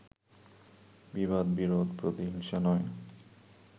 বিবাদ-বিরোধ-প্রতিহিংসা নয়